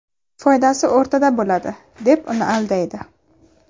Foydasi o‘rtada bo‘ladi”, deb uni aldaydi.